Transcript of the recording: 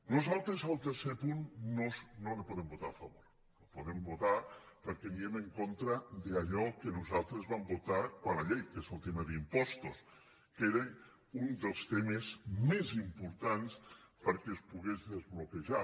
nosaltres el tercer punt no el podem votar a favor no el podem votar perquè aniríem en contra d’allò que nosaltres vam votar quan la llei que és el tema d’im·postos que era un dels temes més importants perquè es pogués desbloquejar